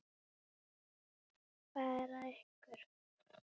Hvað er að ykkur?